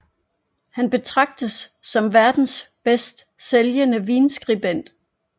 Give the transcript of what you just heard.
Han betragtes som verdens bedst sælgnde vinskribent